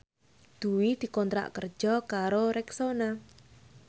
Dwi dikontrak kerja karo Rexona